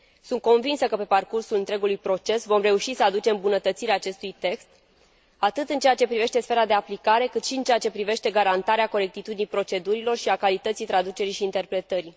Sunt convinsă că pe parcursul întregului proces vom reuși să aducem îmbunătățiri acestui text atât în ceea ce privește sfera de aplicare, cât și în ceea ce privește garantarea corectitudinii procedurilor și a calității traducerii și interpretării.